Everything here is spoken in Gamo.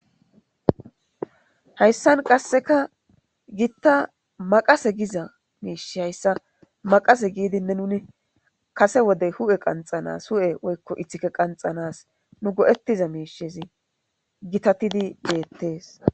Hayssan qasseka giitta maqase giza miish hayssa maqase giidinne nuni kase wodey hu'e qanxanas hu'e woykko ithike qanxanas nu godettiza miishezi gitatidi geettees